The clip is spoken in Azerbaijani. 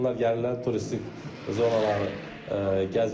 İnsanlar gəlirlər, turistik zonaları gəzirlər.